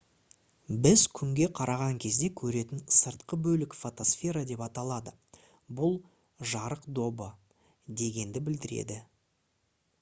біз күнге қараған кезде көретін сыртқы бөлік фотосфера деп аталады бұл «жарық добы» дегенді білдіреді